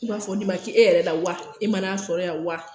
I b'a fɔ nin ma k' e yɛrɛ la wa? E mana'a sɔrɔ yan wa?